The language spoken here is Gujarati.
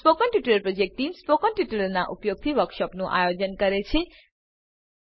spoken tutorial project team spoken ટ્યુટોરીયલોનાં ઉપયોગથી વર્કશોપોનું આયોજન કરે છે